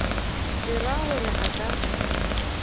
le ra gore a ka